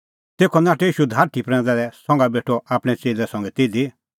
तेखअ नाठअ ईशू धारठी प्रैंदा लै संघा बेठअ आपणैं च़ेल्लै संघै तिधी